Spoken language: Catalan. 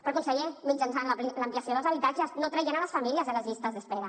però conseller mitjançant l’ampliació dels habitatges no traient les famílies de les llistes d’espera